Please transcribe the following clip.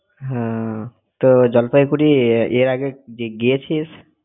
না। তোর জলপাইগুঁড়ি এর~ এর আগে গিয়ে~ গিয়েছিস?